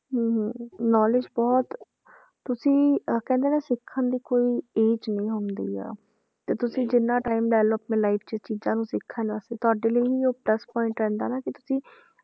ਹਮ ਹਮ knowledge ਬਹੁਤ ਤੁਸੀਂ ਅਹ ਕਹਿੰਦੇ ਨਾ ਸਿੱਖਣ ਦੀ ਕੋਈ age ਨੀ ਹੁੰਦੀ ਆ, ਤੇ ਤੁਸੀਂ ਜਿੰਨਾ time ਲੈ ਲਓ ਆਪਣੀ life 'ਚ ਚੀਜ਼ਾਂ ਨੂੰ ਸਿੱਖਣ ਵਾਸਤੇ ਤੁਹਾਡੇ ਲਈ ਉਹ plus point ਰਹਿੰਦਾ ਨਾ ਕਿ ਤੁਸੀਂ